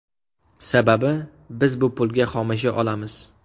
Sababi, biz bu pulga xomashyo olamiz.